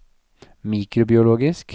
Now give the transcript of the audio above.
mikrobiologisk